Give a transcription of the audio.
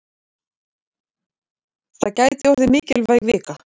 Þetta gæti orðið mikilvæg vika.